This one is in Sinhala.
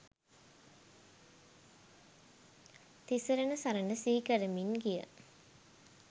තිසරණ සරණ සිහි කරමින් ගිය